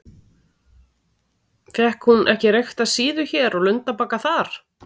Fékk hún ekki reykta síðu hér og lundabagga þar?